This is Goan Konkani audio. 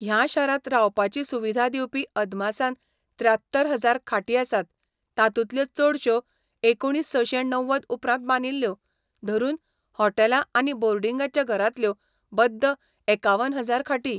ह्या शारांत रावपाची सुविधा दिवपी अदमासान त्र्यात्तर हजार खाटी आसात, तातूंतल्यो चडश्यो एकुणीसशें णव्वद उपरांत बांदिल्ल्यो, धरून हॉटेलां आनी बोर्डिंगाच्या घरांतल्यो बद्द एकावन हजार खाटी.